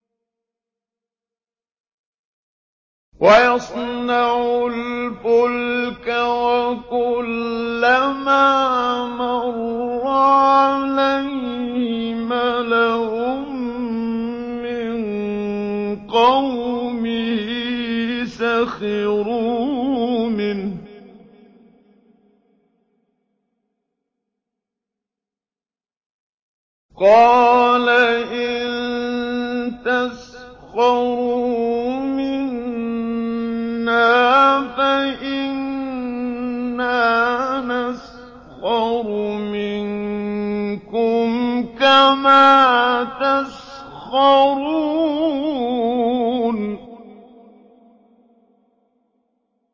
وَيَصْنَعُ الْفُلْكَ وَكُلَّمَا مَرَّ عَلَيْهِ مَلَأٌ مِّن قَوْمِهِ سَخِرُوا مِنْهُ ۚ قَالَ إِن تَسْخَرُوا مِنَّا فَإِنَّا نَسْخَرُ مِنكُمْ كَمَا تَسْخَرُونَ